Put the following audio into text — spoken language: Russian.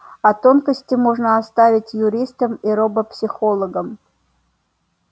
а тонкости можно оставить юристам и робопсихологам